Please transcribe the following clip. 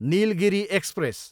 Nilgiri express